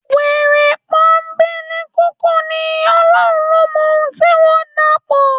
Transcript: Wèrè pọ́nńbélé kúkú ní, Ọlọ́run ló mọ ohun tí wọ́n dàpọ̀.